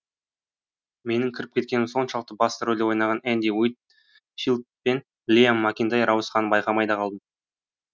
менің кіріп кеткенім соншалықты басты рөлде ойнаған энди уит филд пен лиам макинтайр ауысқанын байқамай да қалдым